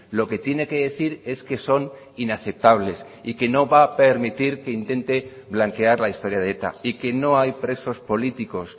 lo que tiene que decir es que son inaceptables y que no va a permitir que intente blanquear la historia de eta y que no hay presos políticos